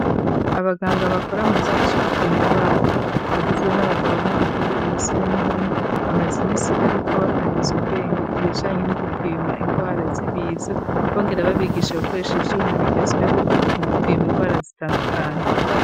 Abaganga bakora mu gisata co gupima ingwara bagizwe n'abagabo n'abagore imisore n'inkumi .Bamaze iminsi bariko bakarize ubwenge ku bijanye no gupima ingwara zibiza bongera babigisha gukoresha ivyuma bigezweho mu gupima ingwara zitandukanye.